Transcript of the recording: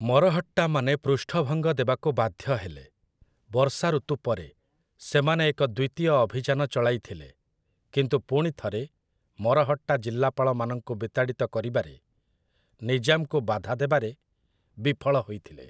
ମରହଟ୍ଟାମାନେ ପୃଷ୍ଠଭଙ୍ଗ ଦେବାକୁ ବାଧ୍ୟ ହେଲେ; ବର୍ଷା ଋତୁ ପରେ, ସେମାନେ ଏକ ଦ୍ୱିତୀୟ ଅଭିଯାନ ଚଳାଇଥିଲେ, କିନ୍ତୁ ପୁଣି ଥରେ ମରହଟ୍ଟା ଜିଲ୍ଲାପାଳମାନଙ୍କୁ ବିତାଡ଼ିତ କରିବାରେ ନିଜାମ୍‌ଙ୍କୁ ବାଧାଦେବାରେ ବିଫଳ ହୋଇଥିଲେ ।